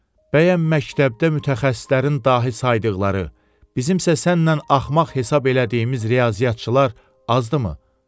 Bəyəm məktəbdə mütəxəssislərin dahi saydıqları, bizimsə sənnən axmaq hesab elədiyimiz riyaziyyatçılar azdımı?